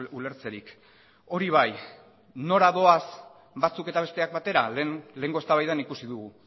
ulertzerik hori bai nora doaz batzuk eta besteak batera lehenengo eztabaidan ikusi dugu